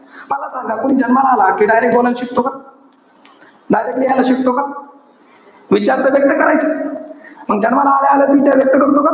मला सांगा तुम्ही जन्माला आला कि direct बोलायला शिकतो का? direct लिहायला शिकतो का? विचार तर व्यक्त करायचे. मग जन्माला आल्या आल्याच विचार व्यक्त करतो का?